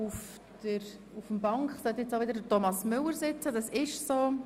Ich begrüsse Thomas Müller, Vorsitzender der Justizleitung.